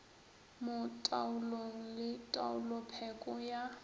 mo taolong le taolopheko ya